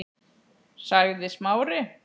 sagði Smári.